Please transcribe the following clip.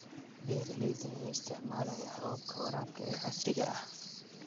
Beeralayda ayaa isticmaalaya hababka waraabka ee casriga ah.